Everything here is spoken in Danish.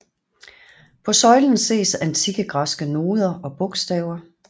På søjlen ses antikke græske noder og bogstaver